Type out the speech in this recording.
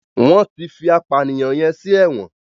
wón tí fí apànìyàn yén sí èwòn.